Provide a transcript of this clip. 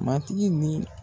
Matigi ni